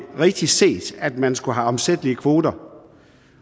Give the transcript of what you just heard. rigtigt set at man skulle have omsættelige kvoter